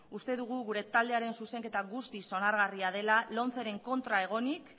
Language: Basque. uste dugu gure taldearen zuzenketa guztiz onargarria dela lomceren kontra egonik